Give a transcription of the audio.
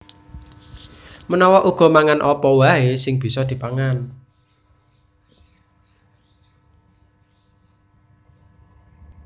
Menawa uga mangan apa waè sing bisa dipangan